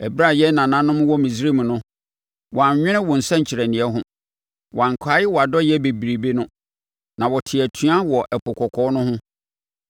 Ɛberɛ a yɛn nananom wɔ Misraim no, wɔannwene wo nsɛnkyerɛnneɛ ho; wɔankae wʼadɔeɛ bebrebe no, na wɔtee atua wɔ Ɛpo Kɔkɔɔ no ho.